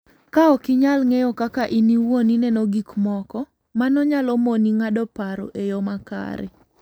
Ka ok inyal ng'eyo kaka in iwuon ineno gik moko, mano nyalo moni ng'ado paro e yo makare.